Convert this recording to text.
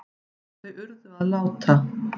Þau urðu að láta